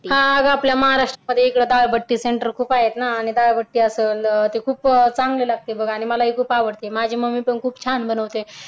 हा अगं आपल्या महाराष्ट्रामध्ये इकडं डाळ बट्टी सेंटर खूप आहेत ना आणि डाळ बट्टी असलं ते खूप चांगली बघ आणि ती मला खूप आवडते माझी मम्मी पण खूप छान बनवते.